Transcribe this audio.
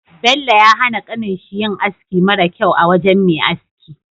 Bello ya hana kanin shi yin aski mara kyau a wajan Me aski